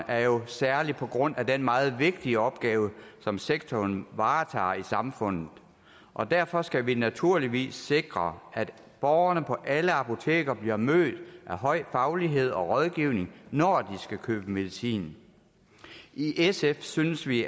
er jo særlig på grund af den meget vigtige opgave som sektoren varetager i samfundet og derfor skal vi naturligvis sikre at borgerne på alle apoteker bliver mødt af høj faglighed og rådgivning når de skal købe medicin i sf synes vi